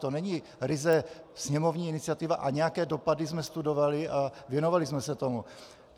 To není ryze sněmovní iniciativa a nějaké dopady jsme studovali a věnovali jsme se tomu.